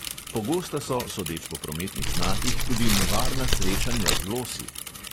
Pogosta so, sodeč po prometnih znakih, tudi nevarna srečanja z losi.